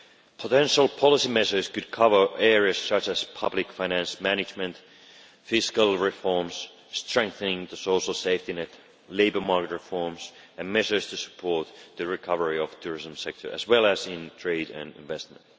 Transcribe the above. Potential policy measures could cover areas such as public finance management, fiscal reforms, strengthening the social safety net, labour market reforms and measures to support the recovery of the tourism sector, as well as in trade and investment.